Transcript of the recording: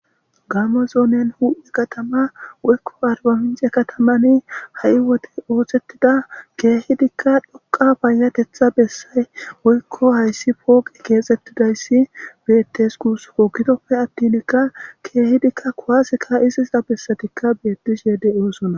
Gaamo zoone huuphe kathama woykko arbbamincce kathamani ha7i woze ooseththida keehidikka dhoqqa payyatheththaa bessay woykko hayssi pooqe keexeththizayssi beeththes guusakoo; gidoppe aththinikka keehidikka kuwaase kaa7izisa bessethikka beeththishee de7oosona.